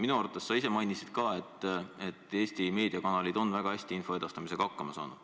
Minu arvates sa ise mainisid, et Eesti meediakanalid on väga hästi info edastamisega hakkama saanud.